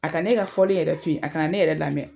A ka ne ka fɔli yɛrɛ to yen, a kana ne yɛrɛ lamɛn,